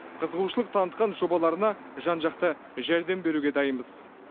қызығушылық танытқан жобаларына жан жақты жәрдем беруге дайынбыз